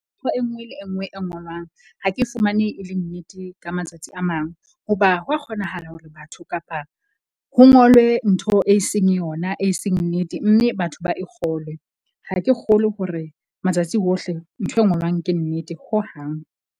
Ntho e nngwe le e nngwe e ngolwang. Ha ke fumane e le nnete, ka matsatsi a mang. Hoba ho a kgonahala hore batho kapa ho ngolwe ntho e seng yona e seng nnete. Mme batho ba e kgolwe. Ha ke kgolwe hore matsatsi ohle nthwe ngolwang ke nnete hohang.